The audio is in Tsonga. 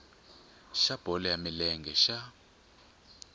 xa bolo ya milenge xa